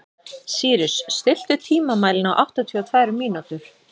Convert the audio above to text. Sýrus, stilltu tímamælinn á áttatíu og tvær mínútur.